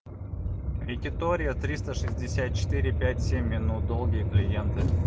якитория триста шестьдесят четыре пять семь минут долгие клиенты